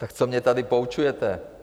Tak co mě tady poučujete?